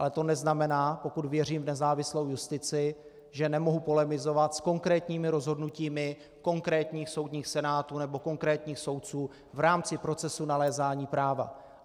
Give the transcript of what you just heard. Ale to neznamená, pokud věřím v nezávislou justici, že nemohu polemizovat s konkrétními rozhodnutími konkrétních soudních senátů nebo konkrétních soudců v rámci procesu nalézání práva.